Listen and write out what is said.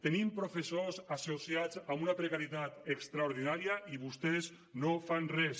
tenim professors associats amb una precarietat extraordinària i vostès no fan res